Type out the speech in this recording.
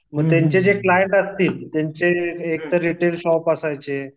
मग त्यांचे जे क्लाएंट असतील त्यांचे एक तर रिटेल शॉप असायचे